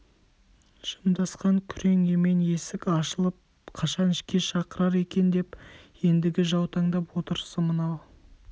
жымдасқан күрең емен есік ашылып қашан ішке шақырар екен деп ендігі жаутаңдап отырысы мынау